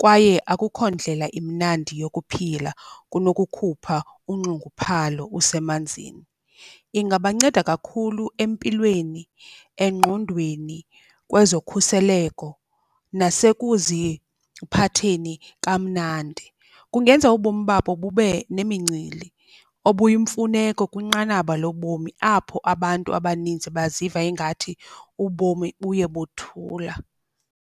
kwaye akukho ndlela imnandi yokuphila kunokukhupha unxunguphalo usemanzini. Ingabanceda kakhulu empilweni, engqondweni, kwezokhuseleko nasekuziphatheni kamnandi. Kungenza ubomi babo bube nemincili obuyimfuneko kwinqanaba lobomi apho abantu abaninzi baziva ingathi ubomi buye bothula.